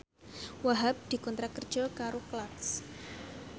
Wahhab dikontrak kerja karo Clarks